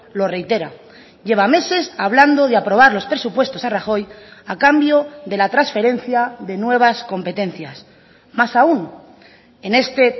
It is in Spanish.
lo reitera lleva meses hablando de aprobar los presupuestos a rajoy a cambio de la transferencia de nuevas competencias más aún en este